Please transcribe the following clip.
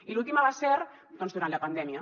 i l’última va ser doncs durant la pandèmia